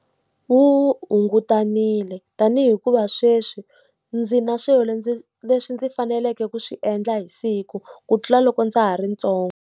Wu hungutanile. Tanihi hikuva sweswi ndzi na swilo leswi ndzi faneleke ku swi endla hi siku, ku tlula loko ndza ha ri ntsongo.